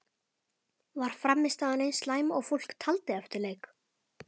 Var frammistaðan eins slæm og fólk taldi eftir leik?